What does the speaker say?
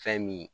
Fɛn min